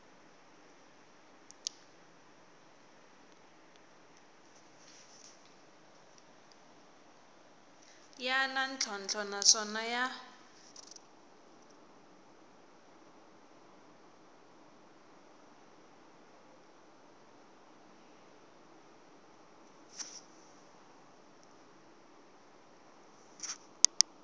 ya na ntlhontlho naswona ya